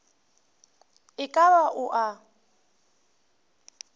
e ka ba o a